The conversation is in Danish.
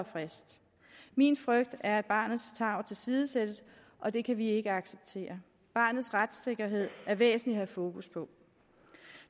frist min frygt er at barnets tarv tilsidesættes og det kan vi ikke acceptere barnets retssikkerhed er væsentlig at have fokus på